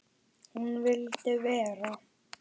Hún vildi vera.